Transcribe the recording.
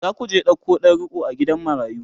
zaku je ɗauko ɗan riƙo a gidan marayu?